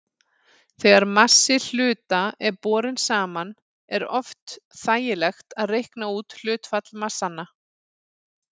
Þegar massi hluta er borinn saman er oft þægilegt að reikna út hlutfall massanna.